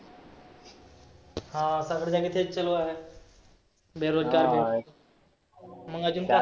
हा सगळीकडे तेच चालू आहे. बेरोजगारी मग आजुन काय?